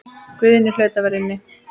Guðni hlaut að vera inni.